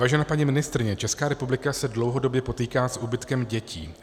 Vážená paní ministryně, Česká republika se dlouhodobě potýká s úbytkem dětí.